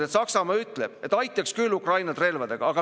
Ja üsna õudne on kuulata seda juttu, kuidas kõiges on süüdi mingi eelarve tasakaal.